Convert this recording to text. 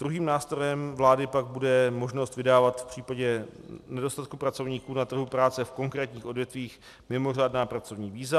Druhým nástrojem vlády pak bude možnost vydávat v případě nedostatku pracovníků na trhu práce v konkrétních odvětvích mimořádná pracovní víza.